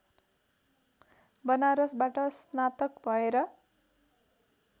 वनारसबाट स्नातक भएर